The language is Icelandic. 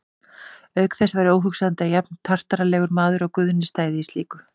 Auk þess væri óhugsandi að jafnartarlegur maður og Guðni stæði í slíku.